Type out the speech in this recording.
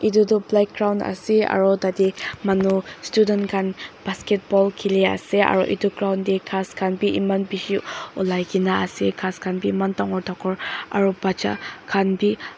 edu tu playground ase aro tatae manu student khan basketball khili ase aro edu ground tae ghas khan bi eman bishi olaikae na ase ghas khan bi eman dangor dangor aro bacha khan bi.